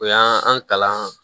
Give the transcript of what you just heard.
O y'an an kalan